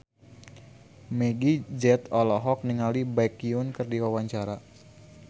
Meggie Z olohok ningali Baekhyun keur diwawancara